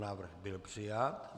Návrh byl přijat.